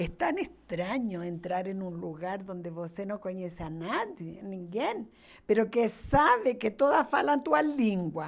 É tão estranho entrar em um lugar onde você não conhece ninguém, que sabe que todos falam a sua língua.